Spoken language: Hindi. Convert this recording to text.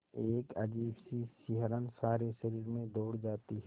एक अजीब सी सिहरन सारे शरीर में दौड़ जाती है